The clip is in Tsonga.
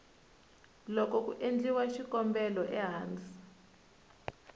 loko ku endliwa xikombelo ehansi